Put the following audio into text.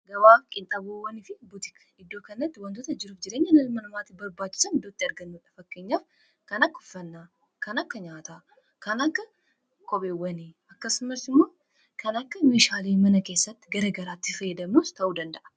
Gabaaaf qinxabowwani fi butiikii iddoo kanatti wantoota jiruuf jireenya ilma namaatif barbaachiisan iddootti argaamaniidha. Fakkenyaaf kan akka uffannaa, kana akka nyaataa, kana akka kopheewwaniifi akkasumaas immoo kan akka meshaalee mana keessatti fayaadamnuus ta'uu dandaa'a.